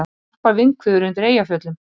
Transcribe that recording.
Snarpar vindhviður undir Eyjafjöllum